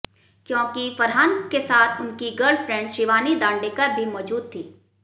क्योंकि फरहान के साथ उनकी गर्लफ्रेंड शिवानी दांडेकर भी मौजूद थी